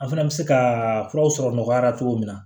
An fana bɛ se ka furaw sɔrɔ nɔgɔya la cogo min na